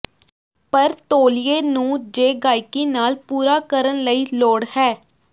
ਪਰ ਤੌਲੀਏ ਨੂੰ ਜ ਗਾਹਕੀ ਨਾਲ ਪੂਰਾ ਕਰਨ ਲਈ ਲੋੜ ਹੈ